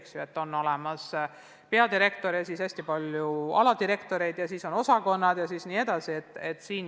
Kindlasti hakkab tööle peadirektor ja tulevad ka aladirektorid ja moodustatakse osakonnad.